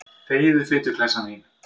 Þegiðu, fituklessan þín.